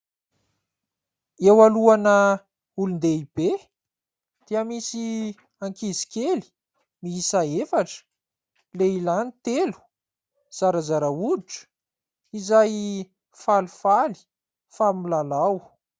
Eo alohana olon-dehibe dia misy ankizy kely miisa efatra : lehilahy ny telo, zarazara hoditra, izay falifaly fa milalao.